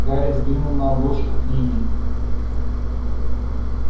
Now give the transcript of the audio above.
гарри взглянул на обложку книги